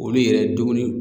Olu yɛrɛ dumuni